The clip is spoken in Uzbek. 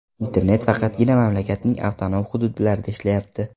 Internet faqatgina mamlakatning avtonom hududlarida ishlayapti.